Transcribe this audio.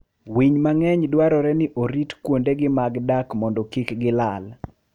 Winy mang'eny dwarore ni orit kuondegi mag dak mondo kik gilal.